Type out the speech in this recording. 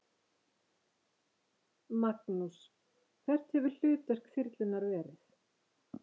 Magnús: Hvert hefur hlutverk þyrlunnar verið?